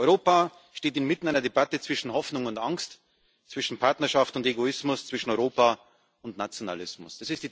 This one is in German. Europa steht inmitten einer Debatte zwischen Hoffnung und Angst, zwischen Partnerschaft und Egoismus, zwischen Europa und Nationalismus.